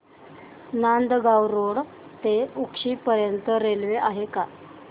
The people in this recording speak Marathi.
नांदगाव रोड ते उक्षी पर्यंत रेल्वे आहे का